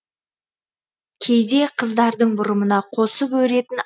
кейде қыздардың бұрымына қосып өретін